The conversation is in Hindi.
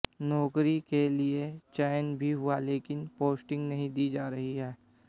नौकरी के लिए चयन भी हुआ लेकिन पोस्टिंग नहीं दी जा रही है